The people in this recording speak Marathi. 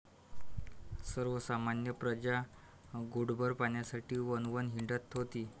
सर्वसामान्य प्रजा घोटभर पाण्यासाठी वणवण हिंडत होती.